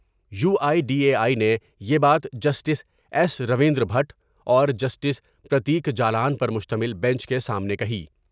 You I D A I نے یہ بات جسٹس ایس رویندر بھٹ اور جسٹس پر تیک جالان پرمشتمل بینچ کے سامنے کہی ۔